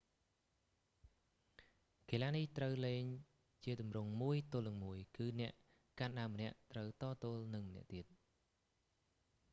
កីឡានេះត្រូវលេងជាទម្រង់មួយទល់នឹងមួយ គឺអ្នកកាន់ដាវម្នាក់ត្រូវតទល់នឹងម្នាក់ទៀត